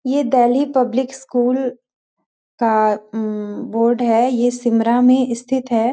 ये Delhi public school का um board है यह सिमरा में स्थित है।